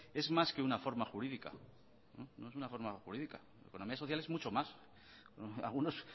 es más que una forma jurídica economía social es mucho más algunos